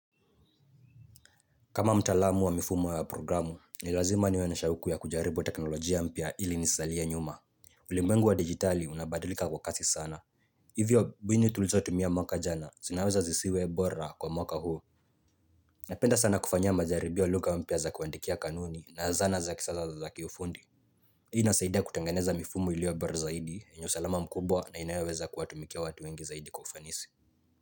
Kama mtaalamu wa mifumo wa programu, ni lazima niwe na shauku ya kujaribu teknolojia mpya ili nisizalie nyuma. Ulimwengu wa digitali unabadilika kwa kasi sana. Hivyo mbinu tulizo tumia mwaka jana, zinaweza zisiwe bora kwa mwaka huu. Napenda sana kufanyia majaribio wa lugha mpya za kuandikia kanuni na zana za kisasa za kiufundi. Hii inasaidia kutangeneza mifumo iliyo bora zaidi yenye usalama mkubwa na inayoweza kuwatumikia watu wengi zaidi kwa ufanisi.